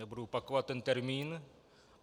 Nebudu opakovat ten termín.